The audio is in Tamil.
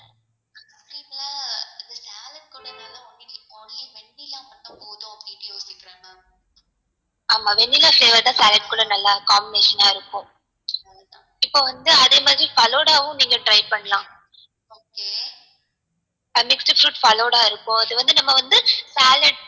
ஆமா vanilla flavour தான் salad குள்ள நல்லார்க்கும் amazing ஆ இருக்கும் இப்போ வந்து அதே மாதிரி falooda உம் நீங்க try பண்ணலாம் mixed fruit falooda இருக்கும் அது வந்து நம்ம வந்து salad